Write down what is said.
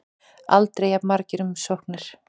Aldrei jafn margar umsóknir